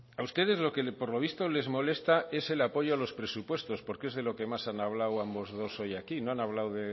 a ustedes lo que por lo visto les molesta es el apoyo a los presupuestos porque es de lo que más han hablado ambos dos hoy aquí no han hablado